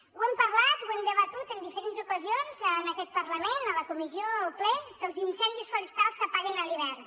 ho hem parlat ho hem debatut en diferents ocasions en aquest parlament a la comissió o al ple que els incendis forestals s’apaguen a l’hivern